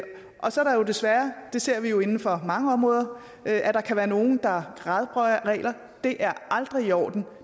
co så kan der jo desværre det ser vi inden for mange områder være nogle der gradbøjer regler det er aldrig i orden